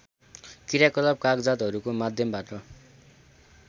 क्रियाकलाप कागजातहरुको माध्यमबाट